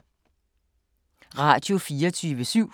Radio24syv